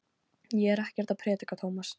Ég er ekkert að predika, Tómas.